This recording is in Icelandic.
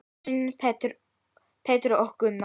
Sveinn, Pétur og Gunnar.